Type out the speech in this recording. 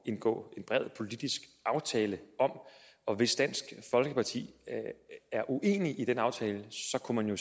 indgå en bred politisk aftale om og hvis dansk folkeparti er uenig i den aftale så kunne man jo